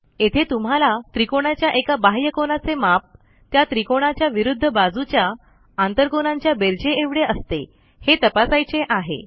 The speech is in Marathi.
येथे तुम्हाला त्रिकोणाच्या एका बाह्यकोनाचे माप त्या त्रिकोणाच्या विरूध्द बाजूच्या आंतरकोनांच्या बेरजेएवढे असते हे तपासायचे आहे